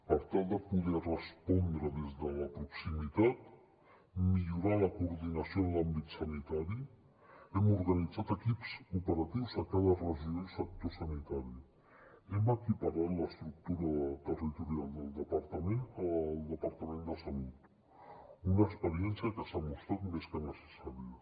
per tal de poder respondre des de la proximitat i millorar la coordinació en l’àmbit sanitari hem organitzat equips operatius a cada regió i sector sanitari hem equiparat l’estructura territorial del departament al departament de salut una experiència que s’ha demostrat més que necessària